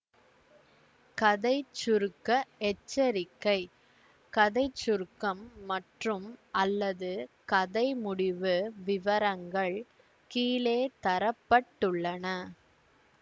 கதை சுருக்க எச்சரிக்கை கதை சுருக்கம் மற்றும்அல்லது கதை முடிவு விவரங்கள் கீழே தர பட்டுள்ளன